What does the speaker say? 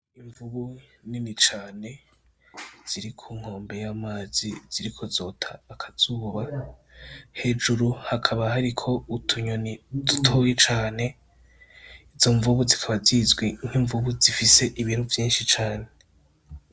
Imvubu nini cane ziri ku nkombe y'amazi ziriko zota akazuba hejuru hakaba hariko utunyoni dutoyi cane izo imvubu zikaba zizwi nk'imvubu zifise ibiro vyishi cane.